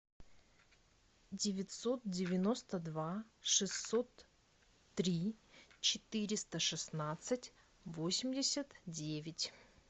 девятьсот девяносто два шестьсот три четыреста шестнадцать восемьдесят девять